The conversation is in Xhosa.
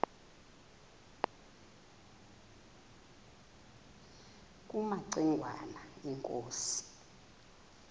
kumaci ngwana inkosi